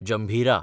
जंभिरा